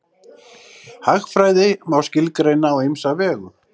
Hagfræði má skilgreina á ýmsa vegu.